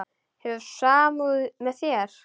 Hefur samúð með mér.